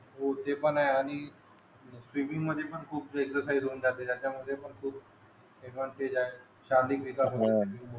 हो ते पण आहे आणि स्विमिंग मद्ये पण खूप एक्सरसाईज होऊन जाते त्याचा मद्ये पण खूप शारीरिक विकास